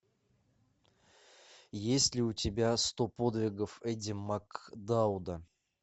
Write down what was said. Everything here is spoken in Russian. есть ли у тебя сто подвигов эдди макдауда